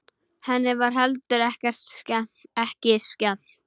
Henni var heldur ekki skemmt.